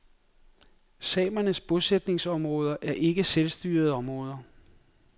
Samernes bosætningsområde er ikke selvstyrede områder.